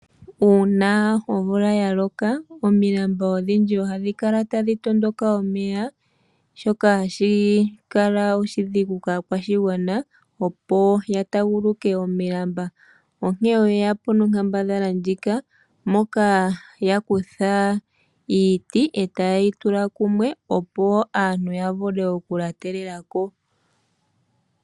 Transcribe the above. Uuna nomvula ya koka omi lamba odhindji ohadhi kala tadhi tondoka omeya shoka hashi kala oshi digu kaa kwa shigwana opo ya taaguluke omilambaa onkee oye yapo nonkambadhala ndjika moka ya kutha iiti taye yi tula kumwe opo aantu ya shimwe oku lyatelelako.